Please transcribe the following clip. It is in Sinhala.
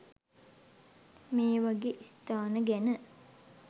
මේවගේ ස්ථාන ගැන